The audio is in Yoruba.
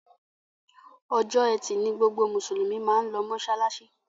Ọjọ́ Ẹti ní gbogbo Musulumi mán ló masalasi.